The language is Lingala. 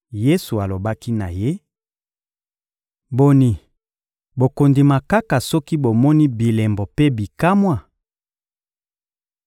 Yesu alobaki na ye: — Boni, bokondima kaka soki bomoni bilembo mpe bikamwa?